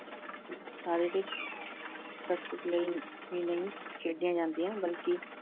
ਸਰੀਰਕ ਕੱਦ ਕੁੱਦ ਲਈ ਹੀ ਨਹੀਂ ਖੇਡੀਆਂ ਜਾਂਦੀਆਂ ਬਲਕਿ